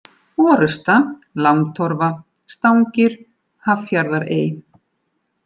Orusta, Langtorfa, Stangir, Haffjarðarey